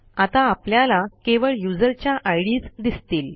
आता आपल्याला केवळ युजरच्या आयडीएस दिसतील